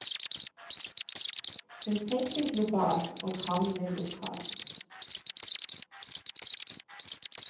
Hun tenker globalt, og handler lokalt.